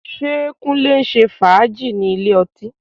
Ṣé Kúnlé ń ṣe fàájì ní ilé ọtí?